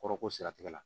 Kɔrɔ ko siratigɛ la